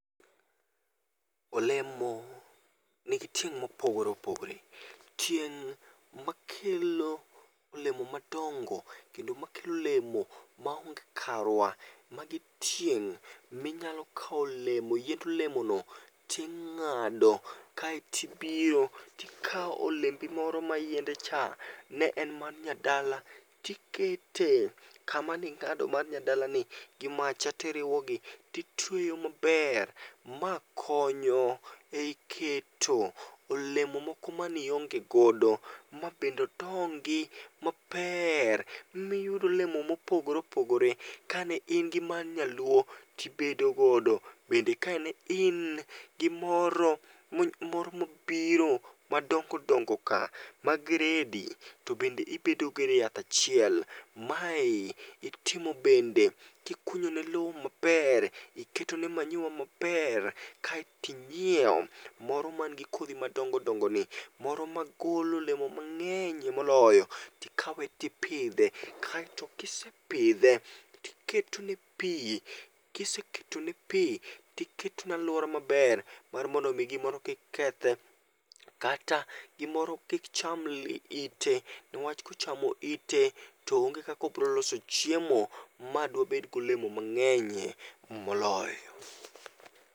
Olemo nigi tieng' mopogore opogore. Tieng' makelo olemo madongo kendo makelo olemo maonge karwa, magi tieng' minyalo kaw olemo yiend olemono ting'ado kaeti ibiro tikaw olembi moro ma yiende cha ne en mar nyadala tikete kama ning'ado mar nyadalani gimacha tiriwogi titweyo maber. Ma konyo ei keto olemo moko manionge godo mabende odongi maper miyud olemo mopogore opogore, ka ne in gi mar nyaluo tibedo godo, bende kane in gi moro moro mobiro madongo dongo ka, ma gredi, to bende ibedo godo e yath achiel. Mae, itimo bende, kikunyo ne lo maper, iketo ne manyiwa maper kaeti inyiew moro man gi kodhi madongodongo ni. Moro ma golo olemo mang'enyie moloyo, tikawe tipidhe, kaeto kisepidhe, tiketone pii, kiseketo ne pii, tiketone alwora maber mar mondo mi gimoro kik kethe kata gimoro kik cham ite niwach kochamo ite to onge kaka obroloso chiemo ma dwabed gi olemo mang'enyie moloyo